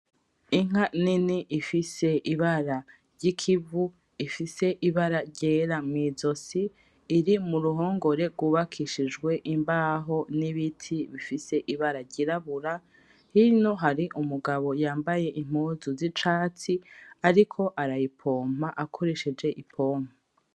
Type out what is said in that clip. Inka nini ifise ibara ry'ikivu , ifise ibara ryera mw'izosi, iri muruhongore rwubakishijwe imbaho n'ibiti bifise ibara ry'irabura. Hino hari umugabo yambaye impuzu zicatsi ariko arayipompa akoresheje "Ipompe".